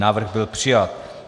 Návrh byl přijat.